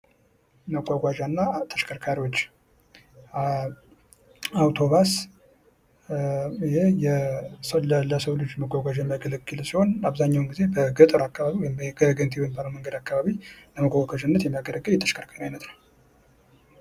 መጓጓዣ እና ተሽከርካሪዎች አውቶቢስ ይህ እንግዲህ ለሰው ልጅ መጓጓዣ የሚያገለግል ሲሆን አብዛኛውን ግዜም ገጠር አካባቢ ወይም ገጠር የወጣ አካባቢ ለመጓጓዣነት የሚያገለግል የተሽከርካሪ አይነት ነው።